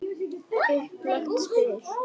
Upplagt spil.